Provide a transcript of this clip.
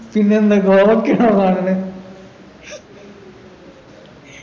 പിന്നെന്താ കോവക്കയാണോ കാണല്